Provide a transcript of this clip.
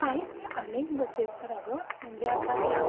काहीच नाही अनेक बसेस अगं म्हणजे आता त्या